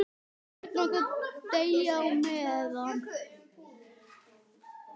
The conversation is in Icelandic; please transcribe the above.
Börnin okkar deyja á meðan.